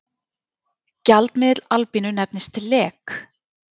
Gjaldmiðill Albaníu nefnist lek.